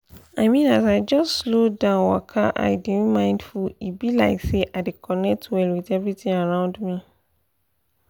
i mean as i just slow down waka and dey mindful e be like say i dey connect well with everything around me